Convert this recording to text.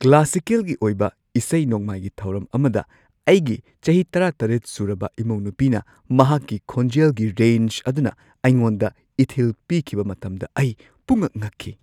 ꯀ꯭ꯂꯥꯁꯤꯀꯦꯜꯒꯤ ꯑꯣꯏꯕ ꯏꯁꯩ-ꯅꯣꯡꯃꯥꯏꯒꯤ ꯊꯧꯔꯝ ꯑꯃꯗ ꯑꯩꯒꯤ ꯆꯍꯤ ꯱꯷ ꯁꯨꯔꯕ ꯏꯃꯧꯅꯨꯄꯤꯅ ꯃꯍꯥꯛꯀꯤ ꯈꯣꯟꯖꯦꯜꯒꯤ ꯔꯦꯟꯖ ꯑꯗꯨꯅ ꯑꯩꯉꯣꯟꯗ ꯏꯊꯤꯜ ꯄꯤꯈꯤꯕ ꯃꯇꯝꯗ ꯑꯩ ꯄꯨꯡꯉꯛ-ꯉꯛꯈꯤ꯫